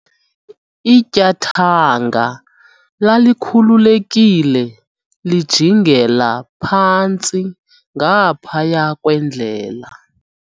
ityathanga lalikhululekile lijingela phantsi ngaphaya kwendlela